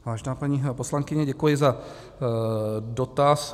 Vážená paní poslankyně, děkuji za dotaz.